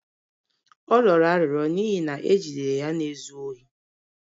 Ọ rịọrọ arịrịọ n'ihi na e jidere ya na-ezu ohi.